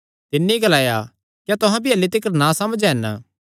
तिन्नी ग्लाया क्या तुहां भी अह्ल्ली तिकर नासमझ हन